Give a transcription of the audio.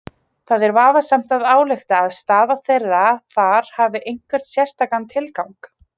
Það er vafasamt að álykta að staða þeirra þar hafi einhvern sérstakan tilgang.